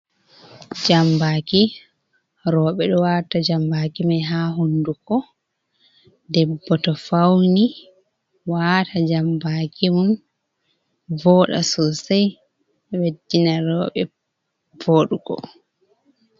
Jambaki rewɓe ɗo waata jambaki mai ha hunnɗuko debbo to fawni, wata jambaki mum voɗa sosai ɓeddina rewɓe voɗugo.